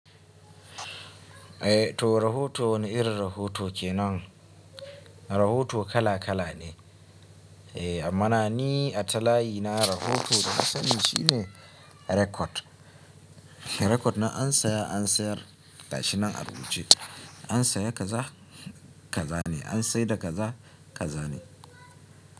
Eh to rahoto wani irin rahoto kenan? Rahoto kala kala ne. Eh ammana ni a talayi na rahoto da na sani shine record. Record na an saya an sayar gashinan a rubuce. An saya kaza kaza ne, an saida kaza kaza ne.